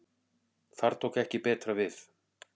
Þar tók ekki betra við.